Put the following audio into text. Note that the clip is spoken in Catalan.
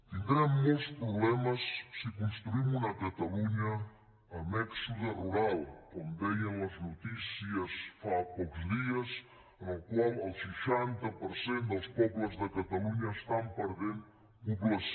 tindrem molts problemes si construïm una catalunya amb èxode rural com deien les notícies fa pocs dies en el qual el seixanta per cent dels pobles de catalunya estan perdent població